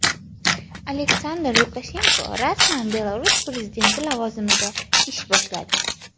Aleksandr Lukashenko rasman Belarus prezidenti lavozimida ish boshladi.